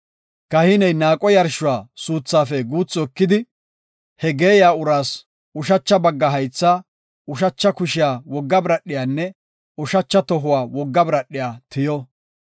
Kahiney naaqo yarshuwa suuthaafe guuthi ekidi, he geeyiya uraas ushacha bagga haythaa, ushacha kushiya wogga biradhiyanne ushacha tohuwa wogga biradhiya tiyo.